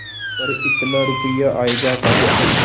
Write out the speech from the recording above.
पर इतना रुपया आयेगा कहाँ से